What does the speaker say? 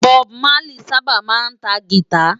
Bòb Málí sãbá má ntá gìtá